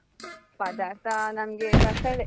ಪದಾರ್ಥ ನಮ್ಗೆ ಬಸಳೆ.